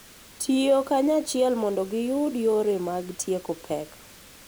Tiyo kanyachiel mondo giyud yore mag tieko pek.